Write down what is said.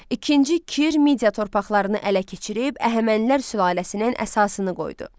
İkinci Kir Midiya torpaqlarını ələ keçirib Əhəmənilər sülaləsinin əsasını qoydu.